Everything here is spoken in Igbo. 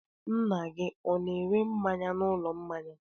Nna gị ọ na-ere mmanya n'ụlọ mmanya?